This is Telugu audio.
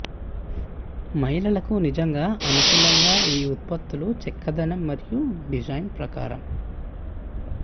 మహిళలకు నిజంగా అనుకూలంగా ఈ ఉత్పత్తుల చక్కదనం మరియు డిజైన్ ప్రకారం